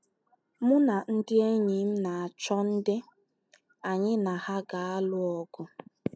Mụ na ndị enyi m na - achọ ndị anyị na ha ga - alụ ọgụ.